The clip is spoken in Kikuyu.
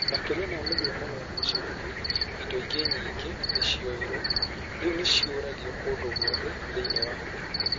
Makĩria ma mĩhianano ya gĩcango, indo ingĩ nyingĩ nĩ cioyirũo. Rĩu nĩ ciorũragio kũndũ guothe thĩinĩ wa thĩ.